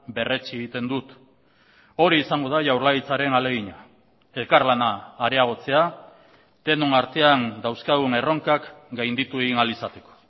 berretsi egiten dut hori izango da jaurlaritzaren ahalegina elkarlana areagotzea denon artean dauzkagun erronkak gainditu egin ahal izateko